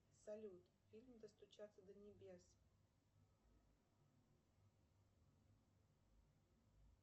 салют фильм достучаться до небес